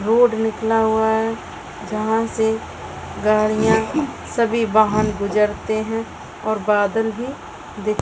road निकला हुआ है जहाँ से गाड़िया सभी वहां गुजरते हैं और बादल भी दिख --